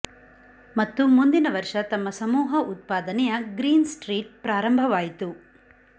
ಮತ್ತು ಮುಂದಿನ ವರ್ಷ ತಮ್ಮ ಸಮೂಹ ಉತ್ಪಾದನೆಯ ಗ್ರೀನ್ ಸ್ಟ್ರೀಟ್ ಪ್ರಾರಂಭವಾಯಿತು